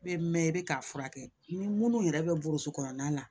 I bɛ mɛn i bɛ k'a furakɛ ni minnu yɛrɛ bɛ burusi kɔnɔna na